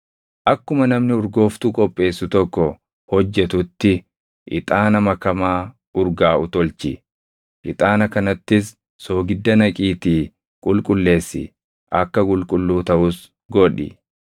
akkuma namni urgooftuu qopheessu tokko hojjetutti ixaana makamaa urgaaʼu tolchi. Ixaana kanattis soogidda naqiitii qulqulleessi; akka qulqulluu taʼus godhi.